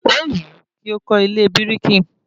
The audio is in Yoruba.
Ówù ú kí ó kọ́ ilé bírìkì